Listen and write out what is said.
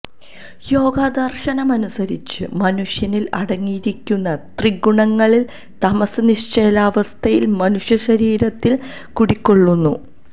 യോഗദര്ശനമനുസരിച്ച് മനുഷ്യനില് അടങ്ങിയിരിക്കുന്ന ത്രിഗുണങ്ങളില് തമസ്സ് നിശ്ചലാവസ്ഥയില് മനുഷ്യ ശരീരത്തില് കുടികൊള്ളുന്നു